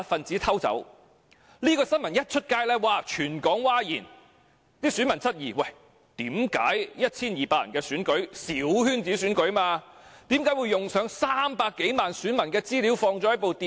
這宗新聞一經報道，全港譁然，選民質疑為何 1,200 人的小圈子選舉要動用內存300多萬名選民資料的電腦？